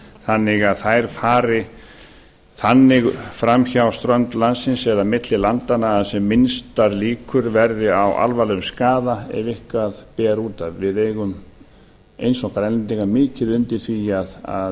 þannig að þær fari þannig fram hjá strönd landsins eða milli landanna að sem minnstar líkur verði á alvarlegum skaða ef eitthvað ber út af við eigum eins og grænlendingar mikið undir því að